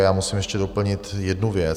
A já musím ještě doplnit jednu věc.